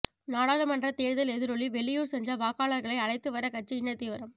நாடாளுமன்ற தேர்தல் எதிரொலி வெளியூர் சென்ற வாக்காளர்களை அழைத்து வர கட்சியினர் தீவிரம்